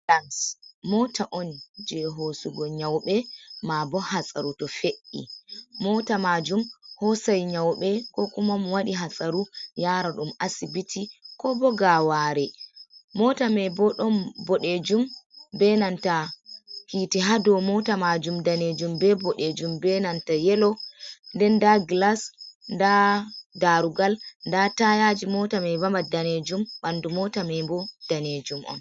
Mota on je hosugo nyaube, ma bo hatsaru to fe’i. Mota majum hosai nyaube ko kumam waɗi hatsaru yara ɗum asibiti. Ko bo gaware. Mota mei bo ɗon bodejum be nanta hiti ha ɗow mota majum ɗanejum be boɗejum, be nanta yelo. Ɗen da gilas, ɗa ɗarugal, ɗa tayaji. Mota mai bama ɗanejum. Banɗu mota mei bo ɗanejum on.